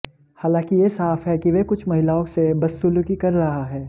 हालांकि यह साफ है कि वह कुछ महिलाओं से बदसुलूकी कर रहा है